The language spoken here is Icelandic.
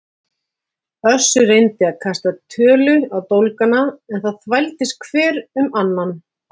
Össur reyndi að kasta tölu á dólgana en það þvældist hver um annan.